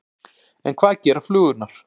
En hvað gera flugurnar?